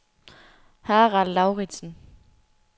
Harald Lauridsen